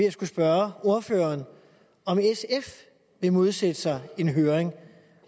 at skulle spørge ordføreren om sfs vil modsætte sig en høring